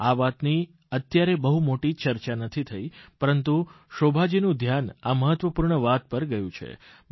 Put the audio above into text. આ વાતની અત્યારે બહુ મોટી ચર્ચા નથી થઇ પરંતુ શોભાજીનું ધ્યાન આ મહત્વપૂર્ણ વાત પર ગયું છે